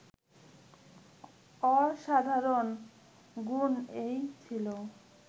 অসাধারণ গুণ এই ছিল